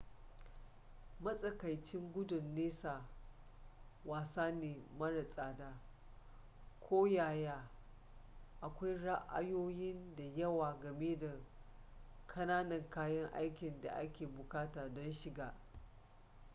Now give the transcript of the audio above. matsakaicin gudun nesa wasa ne mara tsada koyaya akwai ra'ayoyi da yawa game da ƙananan kayan aikin da ake buƙata don shiga